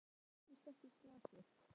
Þér eruð enn í skökku glasi.